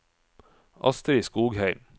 Astrid Skogheim